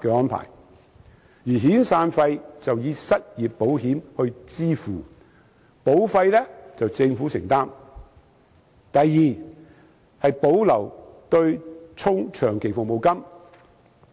的安排，而遣散費則以失業保險來支付，保費由政府承擔；第二，保留強積金對沖長期服務金的安排。